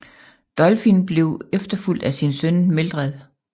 Dolfin blev efterfulgt af sin søn Meldred